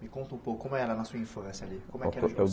Me conta um pouco, como era na sua influência ali? Como que era O o eu